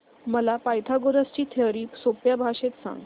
मला पायथागोरस ची थिअरी सोप्या भाषेत सांग